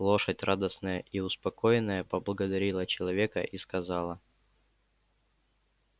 лошадь радостная и успокоенная поблагодарила человека и сказала